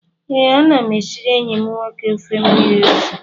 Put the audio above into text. Ee, ana m esiri enyi m nwoke ofe mmiri ose